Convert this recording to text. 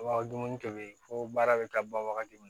Wa dumuni kɛmɛ fo baara bɛ taa ban wagati min na